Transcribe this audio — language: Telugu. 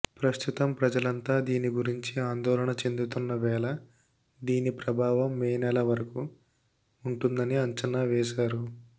ప్రస్తుతం ప్రజలంతా దీని గురించి ఆందోళన చెందుతున్న వేళ దీని ప్రభావం మే నెల వరకు ఉంటుందని అంచనా వేశారు